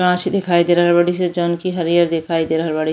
घास दिखाई दे रहल बाड़ी सन जौन की हरियर दिखाई दे रहल बाड़ी --